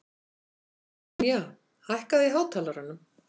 Brynja, hækkaðu í hátalaranum.